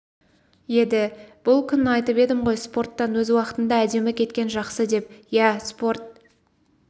еді бұл күн айтып едім ғой спорттан өз уақытында әдемі кеткен жақсы деп иә спорт